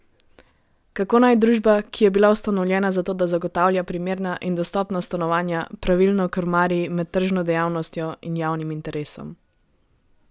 Kako naj družba, ki je bila ustanovljena zato, da zagotavlja primerna in dostopna stanovanja, pravilno krmari med tržno dejavnostjo in javnim interesom?